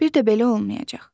Bir də belə olmayacaq.